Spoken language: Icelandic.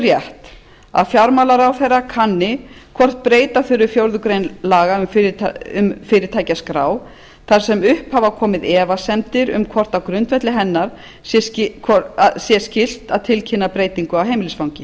rétt að fjármálaráðherra kanni hvort breyta þurfi fjórðu grein laga um fyrirtækjaskrá þar sem upp hafa komið efasemdir um hvort á grundvelli hennar sé skylt sé að tilkynna breytingu á heimilisfangi